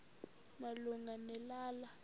malunga ne lala